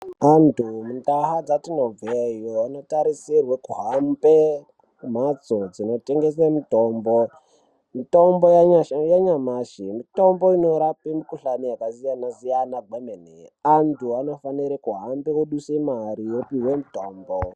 Antu mundau dzetinobveyo anotarisirwe kuhambe kumhatso dzinotengese mitombo. Mitombo yanyamashi mitombo inorape mikhuhlani yakasiyana siyana kwemene. Antu anofanire kuhambe oduse mare opiwe mitombo.